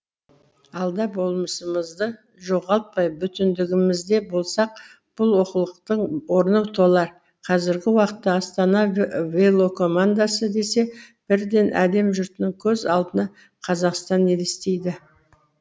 алда болмысымызды жоғалтпай бүтіндігімізде болсақ бұл олқылықтың орны толар қазіргі уақытта астана велокомандасы десе бірден әлем жұртының көз алдына қазақстан елестейді